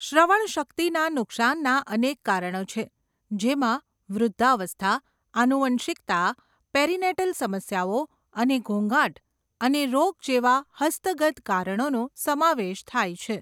શ્રવણશક્તિના નુકશાનના અનેક કારણો છે, જેમાં વૃદ્ધાવસ્થા, આનુવંશિકતા, પેરીનેટલ સમસ્યાઓ અને ઘોંઘાટ અને રોગ જેવા હસ્તગત કારણોનો સમાવેશ થાય છે.